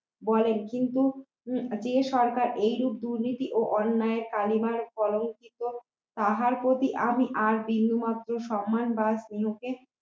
বলেন কিন্তু উম যে সরকার এই রূপ দুর্নীতি ও অন্যায় কালিমায় কলঙ্কিত তাহার প্রতি আমি আর বিন্দুমাত্র সম্মান বা স্নেহ কে